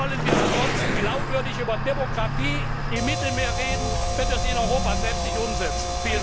ändert. Wie wollen wir ansonsten glaubwürdig über Demokratie im Mittelmeer reden, wenn wir sie in Europa selbst nicht umsetzen?